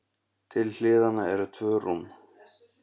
Til hliðanna eru tvö rúm.